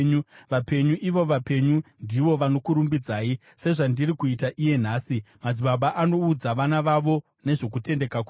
Vapenyu, ivo vapenyu, ndivo vanokurumbidzai, sezvandiri kuita iye nhasi; madzibaba anoudza vana vavo nezvokutendeka kwenyu.